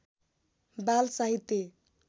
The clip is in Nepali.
बाल साहित्य